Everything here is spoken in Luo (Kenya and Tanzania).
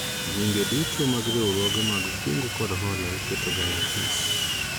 Nyinge duto mag riwruoge mag kungo kod hola iketoga e apis